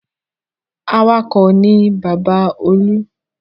Awakọ̀ ni bàbá Olú.